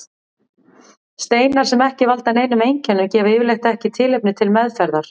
Steinar sem ekki valda neinum einkennum gefa yfirleitt ekki tilefni til meðferðar.